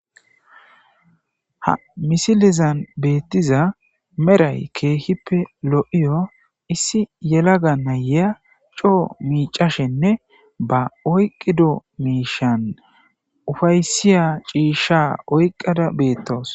Ha misilizan beettiza meray keehippe lo7iyo issi yelaga na7eya coo miicashenne ba oyqqido miishan ufaysiya ciisha oyqqada beettawus.